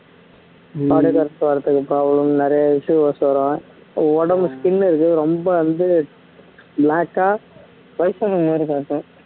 வர்றதுக்கு problem நிறைய issues வரும் உடம்பு skin இருக்கும் ரொம்ப வந்து black ஆ வயசான மாறி காட்டும்